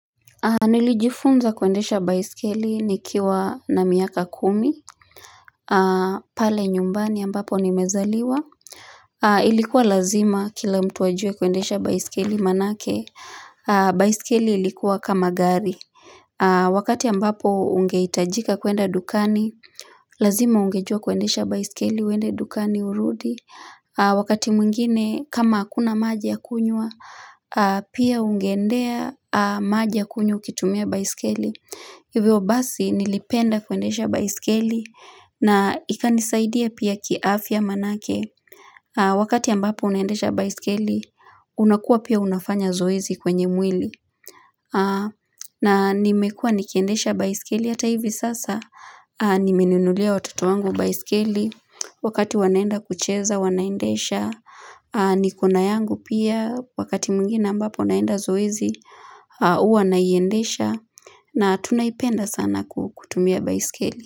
Nilijifunza kuendesha baisikeli nikiwa na miaka kumi pale nyumbani ambapo nimezaliwa Ilikuwa lazima kila mtu ajue kuendesha baisikeli manake baisikeli ilikuwa kama gari Wakati ambapo ungeitajika kwenda dukani Lazima ungejua kuendesha baisikeli uende dukani urudi Wakati mwigine kama hakuna maji ya kunywa Pia ungeendea maji ya kunywa ukitumia baisikeli Hivyo basi nilipenda kuendesha baiskeli na ikanisaidia pia ki afya manake wakati ambapo unendesha baiskeli unakua pia unafanya zoezi kwenye mwili na nimekua nikiendesha baiskeli ata hivi sasa nimeninulia watoto wangu baiskeli wakati wanaenda kucheza wanaendesha nikona yangu pia wakati mwingine ambapo naenda zoezi huwa naiendesha na tunaipenda sana kutumia baiskeli.